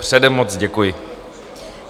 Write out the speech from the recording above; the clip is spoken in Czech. Předem moc děkuji.